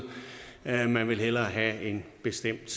at man hellere vil have en bestemt